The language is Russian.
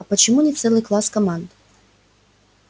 а почему не целый класс команд